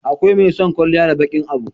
akwai mai son kwalliya da baƙin Abu